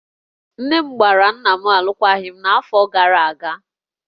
Nne m gbara nna m alụkwaghịm n'afọ gara aga